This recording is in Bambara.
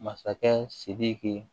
Masakɛ sidiki